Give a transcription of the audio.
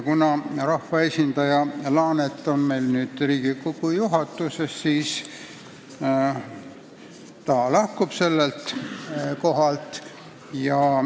Kuna rahvaesindaja Laanet on meil nüüd Riigikogu juhatuses, siis ta lahkub komisjoni liikme kohalt.